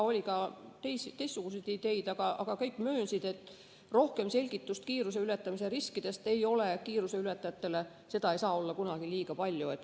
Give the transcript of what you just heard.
Oli ka teistsuguseid ideid, aga kõik möönsid, et selgitusi kiiruseületajatele kiiruse ületamise riskide kohta ei saa olla kunagi liiga palju.